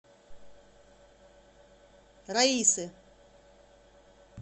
раисы